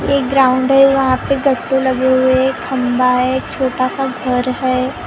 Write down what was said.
एक ग्राउन्ड है वहां पे गत्ते लगे हुए हैं खम्बा है एक छोटा सा घर है।